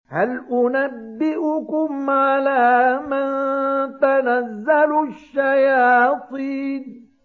هَلْ أُنَبِّئُكُمْ عَلَىٰ مَن تَنَزَّلُ الشَّيَاطِينُ